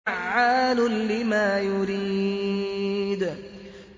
فَعَّالٌ لِّمَا يُرِيدُ